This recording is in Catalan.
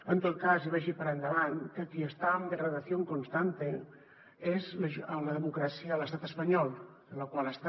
en tot cas i vagi per endavant que qui està en degradación constante és la democràcia a l’estat espanyol la qual està